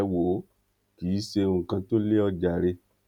ẹ wò ó kí ṣe ohun kan tó lé ọ jàre